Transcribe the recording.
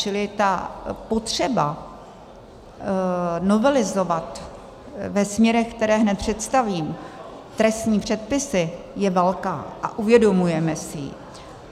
Čili ta potřeba novelizovat ve směrech, které hned představím, trestní předpisy je velká a uvědomujeme si ji.